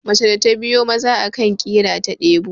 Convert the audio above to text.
mace da ta biyo Maza akan kira ta delu